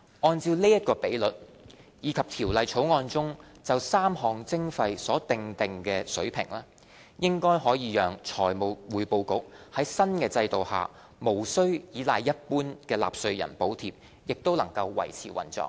按照這比率，以及《條例草案》中就3項徵費所訂定的水平，應可讓財務匯報局在新制度下無須倚賴一般納稅人補貼也能維持運作。